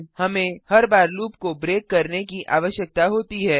हमें हर बार लूप को ब्रेक करने की आवश्यकता होती है